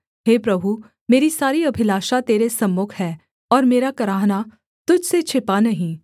हे प्रभु मेरी सारी अभिलाषा तेरे सम्मुख है और मेरा कराहना तुझ से छिपा नहीं